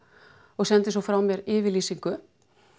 og sendi svo frá mér yfirlýsingu